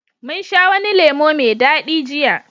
mun sha wani lemo mai dadi jiya